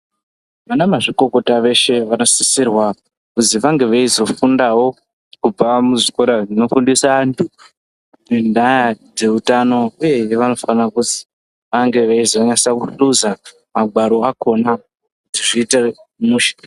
Vana mazvikokota veshe vanosisirwa kuzi vange veizofundavo kubva muzvikora zvinofundisa antu. Ngendaa dzeutano, uyehe vanofana kuzi ange eizonyasa kuhluza magwaro akona kuti zviite mushe.